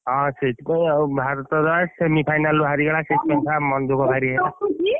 ହଁ ସେଇଥି ପାଇଁ ଆଉ, ଭାରତ ବା semi final ରୁ ହାରିଗଲା ସେଇଥିପାଇଁ ବା ମନ ଦୁଃଖ ଭାରି ହେଲା